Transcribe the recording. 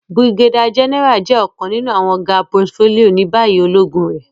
Brigadier General jẹ ọkan ninu awọn ga portfolio ni bayi ologun re.